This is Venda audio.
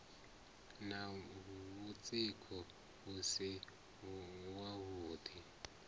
na mutsiko u si wavhuḓi